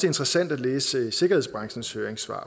interessant at læse sikkerhedsbranchens høringssvar